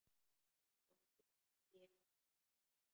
Hvorki ég né faðir hans.